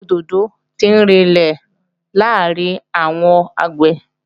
Àgbẹ̀ òdòdó tí ń rinlẹ̀ làárín àwọn àgbẹ̀